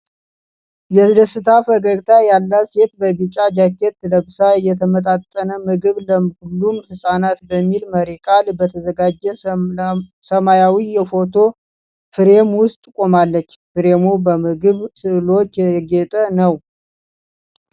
የደስታ ፈገግታ ያላት ሴት በቢጫ ጃኬት ለብሳ የተመጣጠን ምግብ ለሁሉም ህጻናት' በሚል መሪ ቃል በተዘጋጀ ሰማያዊ የፎቶ ፍሬም ውስጥ ቆማለች። ፍሬሙ በምግብ ስዕሎች ያጌጠ ነው።